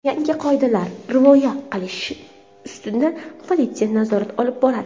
Yangi qoidalarga rioya qilinishi ustidan politsiya nazorat olib boradi.